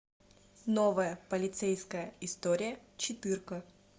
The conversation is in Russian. новая полицейская история четырка